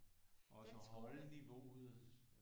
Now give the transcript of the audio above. Også at holde niveauet